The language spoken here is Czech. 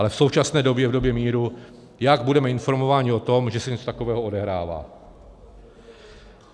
Ale v současné době, v době míru, jak budeme informováni o tom, že se něco takového odehrává.